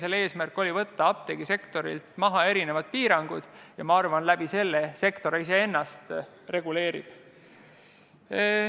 Selle eesmärk oli võtta apteegisektorilt maha piirangud ja ma arvan, et selle kaudu reguleerib sektor ennast ise.